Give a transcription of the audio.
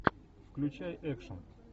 включай экшен